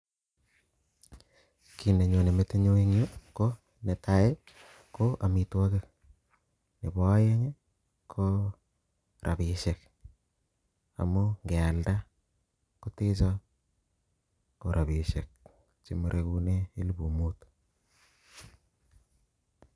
Kii nenyone metinyu eng Yu ko netai ko amitwokik nebo aeng ko rabishek amuu nge alnda kotecho kora rabishek chemarekinee elfu muut